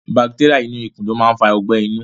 Bacteria inú ikù lo ma n fa ogbẹ̀ inú